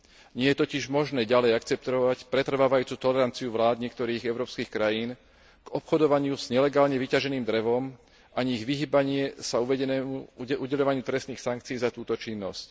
Nie je totiž možné ďalej akceptovať pretrvávajúcu toleranciu vlád niektorých európskych krajín k obchodovaniu s nelegálne vyťaženým drevom, ani ich vyhýbanie sa udeľovaniu trestných sankcií za túto činnosť.